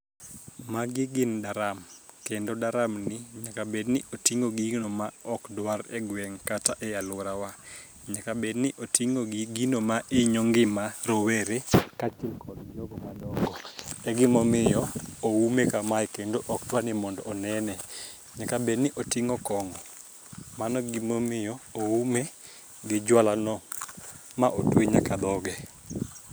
Magi gin daram kendo daram ni nyaka bed ni oting'o gino ma ok dwar e geng' kata e luorawa. Nyaka bed ni oting'o gi gino ma inyo ngima rowere kaachiel kod jogo madongo egimomiyo oume kamae kendo ok dwar ni onene , nyaka bed ni oting'o kongo mano emomiyo oume gi jwala no ma otwe nyaka dhoge.